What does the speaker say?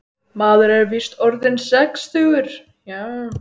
Maður er víst orðinn sextugur, já.